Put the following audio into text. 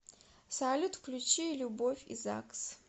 салют включи любовь и загс